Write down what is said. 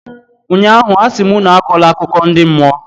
ụnyaahụ, a sị m unu akọla akụkọ ndi mmụọ!